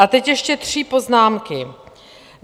A teď ještě tři poznámky.